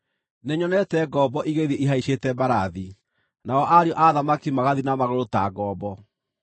Nĩnyonete ngombo igĩthiĩ ihaicĩte mbarathi, nao ariũ a athamaki magathiĩ na magũrũ ta ngombo.